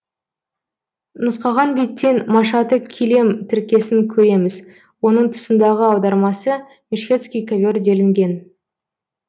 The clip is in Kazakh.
нұсқаған беттен машаты килем тіркесін көреміз оның тұсындағы аудармасы мешхедский ковер делінген